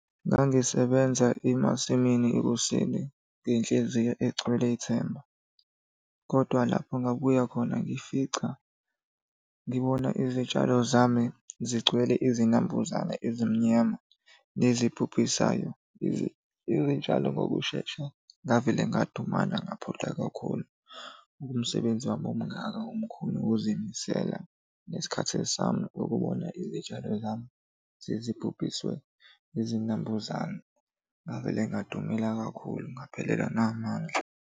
Ngangisebenza emasimini ekuseni ngenhliziyo egcwele ithemba, kodwa lapho ngabuya khona ngifica ngibona izitshalo zami zigcwele izinambuzane ezimnyama nezibhubhisayo izitshalo ngokushesha. Ngavele ngadumala ngaphoxeka kakhulu, buka umsebenzi wami omngaka omkhulu nokuzimisela nesikhathi sami ukubona izitshalo zami sezibhubhiswe izinambuzane. Ngavele ngadumala kakhulu ngaphelelwa namandla.